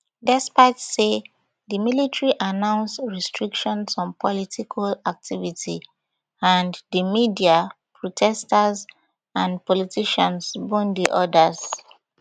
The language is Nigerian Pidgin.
despite say di military announce restrictions on political activity and di media protesters and politicians bone di orders